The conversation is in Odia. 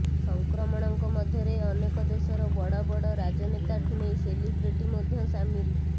ସଂକ୍ରମଣଙ୍କ ମଧ୍ୟରେ ଅନେକ ଦେଶର ବଡ ବଡ ରାଜନେତାଠୁ ନେଇ ସେଲିବ୍ରିଟି ମଧ୍ୟ ସାମିଲ